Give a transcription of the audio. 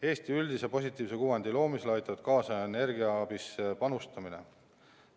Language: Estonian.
Eesti üldise positiivse kuvandi loomisele aitab kaasa energiaabisse panustamine.